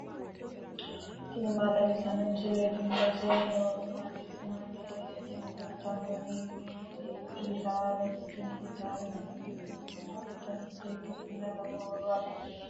tini maa xawissanno misileeti ? mulese noori maati ? hiissinannite ise ? tini kultannori gitarete. tini gitaare muuziiqu uduunni giddo mitte ikkitanna lowo horo afidhino.